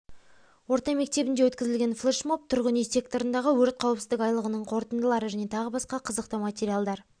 орта мектебінде өкізілген флешмоб тұрғын-үй секторындағы өрт қауіпсіздік айлығының қорытындылары және тағы басқа қызықты материалдар